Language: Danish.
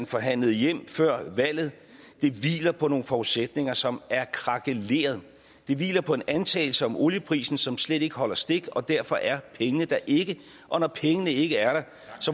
forhandlet hjem før valget hviler på nogle forudsætninger som er krakeleret det hviler på en antagelse om olieprisen som slet ikke holder stik og derfor er pengene der ikke og når pengene ikke er der